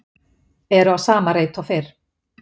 Eru á sama reit og fyrr